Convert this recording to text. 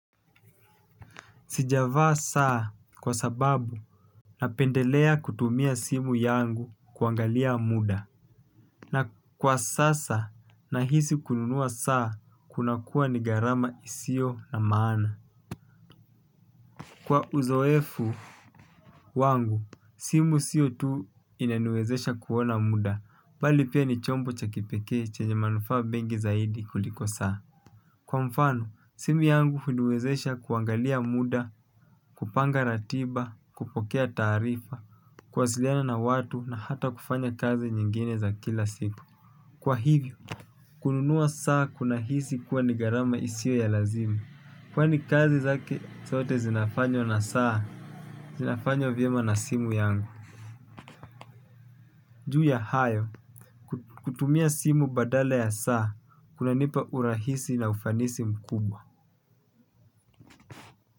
Sijavaa saa kwa sababu napendelea kutumia simu yangu kuangalia muda. Na kwa sasa nahisi kununua saa kunakuwa ni gharama isiyo na maana. Kwa uzoefu wangu, simu sio tu inaniwezesha kuona muda. Bali pia ni chombo cha kipekee chenye manufaa mengi zaidi kuliko saa. Kwa mfano, simu yangu huniwezesha kuangalia muda, kupanga ratiba, kupokea taarifa, kuwasiliana na watu na hata kufanya kazi nyingine za kila siku. Kwa hivyo, kununua saa kuna hisi kuwa ni gharama isio ya lazima. Kwani kazi zake zote zinafanywa na saa, zinafanywa vyema na simu yangu. Juu ya hayo, kutumia simu badala ya saa, kunanipa urahisi na ufanisi mkubwa.